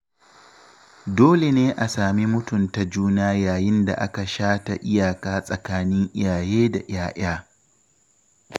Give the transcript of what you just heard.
Dole ne a sami mutunta juna yayin da aka shata iyaka tsakanin iyaye da ‘ya‘ya.